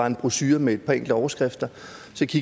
en brochure med et par enkelte overskrifter